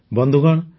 ବନ୍ଧୁଗଣ